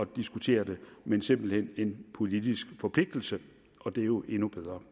diskutere det men simpelt hen en politisk forpligtelse og det er jo endnu bedre